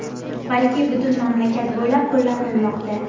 balki butun mamlakat bo‘ylab qo‘llanilmoqda.